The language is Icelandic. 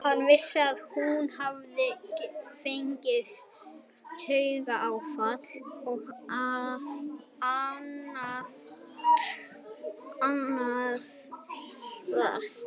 Hann vissi að hún hafði fengið taugaáfall og að Aðalsteinn hafði verið við sjúkrabeðinn.